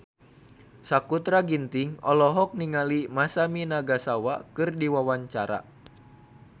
Sakutra Ginting olohok ningali Masami Nagasawa keur diwawancara